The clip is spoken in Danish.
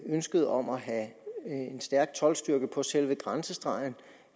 ønsket om at have en stærk toldstyrke på selve grænsestregen